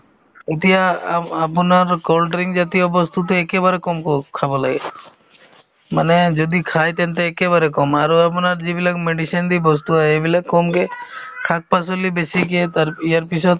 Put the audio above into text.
এতিয়া আ~ আপোনাৰ cold drink জাতীয় বস্তুতো একেবাৰে কমকৈ খাব লাগে মানে যদি খাই তেন্তে একেবাৰে কম আৰু আপোনাৰ যিবিলাক medicine দি বস্তু সেইবিলাক কমকে শাক-পাচলি বেছিকে তাৰ ইয়াৰপিছত